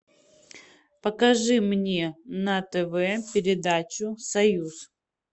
покажи мне на тв передачу союз